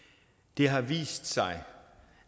det har vist sig